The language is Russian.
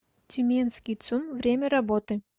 тюменский цум время работы